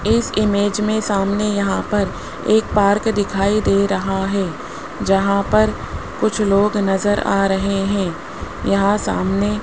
इस इमेज में सामने यहां पर एक पार्क दिखाई दे रहा है जहां पर कुछ लोग नजर आ रहे हैं यहां सामने --